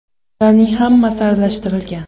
Ularning hammasi aralashtirilgan.